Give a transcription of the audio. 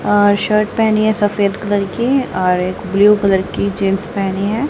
अह shirt पहनी है सफेद कलर की और एक ब्लू कलर की जींस पहनी है।